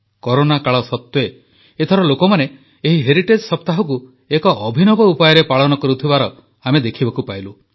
corona କାଳ ସତ୍ୱେ ଏଥର ଲୋକମାନେ ଏହି ହେରିଟେଜ୍ ସପ୍ତାହକୁ ଏକ ଅଭିନବ ଉପାୟରେ ପାଳନ କରୁଥିବାର ଆମେ ଦେଖିବାକୁ ପାଇଲୁ